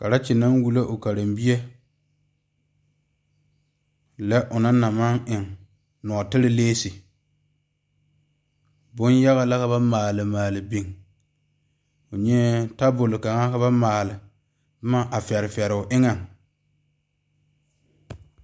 Karekyi naŋ wulo o karebie lɛ o naŋ na maŋ e lɔteɛ lesi bonyaga la ka ba maale maale biŋ o nyaɛ tabol kaŋa ka ba maale boma a fare fare o eŋa.